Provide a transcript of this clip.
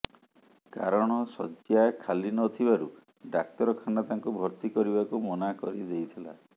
କାରଣ ଶଯ୍ୟା ଖାଲି ନ ଥିବାରୁ ଡାକ୍ତରଖାନା ତାଙ୍କୁ ଭର୍ତ୍ତି କରିବାକୁ ମନା କରିଦେଇଥିଲା